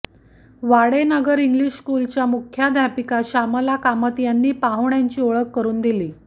Wadenagar English स्कुलच्या मुख्याध्यापिका श्यामल कामत यांनी पाहुण्यांची ओळख करून दिली